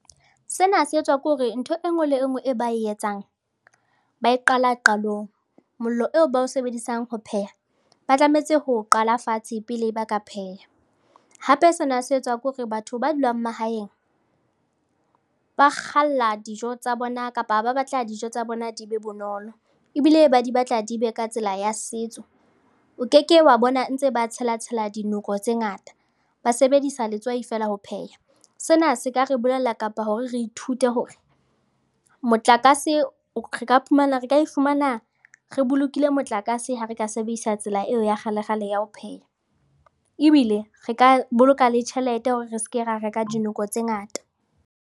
Sena se etswa ke hore ntho e nngwe le e nngwe e ba e etsang ba e qala qalong. Mollo eo ba o sebedisang ho pheha, ba tlameha ho o qala fatshe pele ba ka pheha. Hape sena se etswa ke hore batho ba dulang mahaeng ba kgalla dijo tsa bona kapa ba batla dijo tsa bona di be bonolo ebile ba di batla di be ka tsela ya setso. O keke wa bona ntse ba tshela-tshela dinoko tse ngata, ba sebedisa letswai feela ho pheha. Sena se ka re bolella kapa hore re ithute hore re ka iphumana re bolokile motlakase ha re ka sebedisa tsela eo ya kgale-kgale ya ho pheha ebile re ka boloka le tjhelete hore re seke ra reka dinoko tse ngata.